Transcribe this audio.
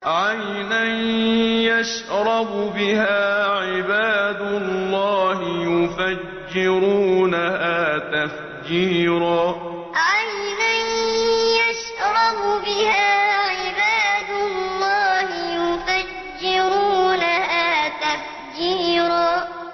عَيْنًا يَشْرَبُ بِهَا عِبَادُ اللَّهِ يُفَجِّرُونَهَا تَفْجِيرًا عَيْنًا يَشْرَبُ بِهَا عِبَادُ اللَّهِ يُفَجِّرُونَهَا تَفْجِيرًا